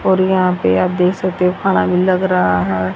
और यहां पे आप देख सकते हो खाना भी लग रहा है।